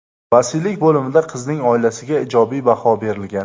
Vasiylik bo‘limida qizning oilasiga ijobiy baho berilgan.